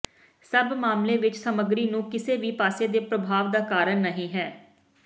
ਸਭ ਮਾਮਲੇ ਵਿੱਚ ਸਮੱਗਰੀ ਨੂੰ ਕਿਸੇ ਵੀ ਪਾਸੇ ਦੇ ਪ੍ਰਭਾਵ ਦਾ ਕਾਰਨ ਨਹੀ ਹੈ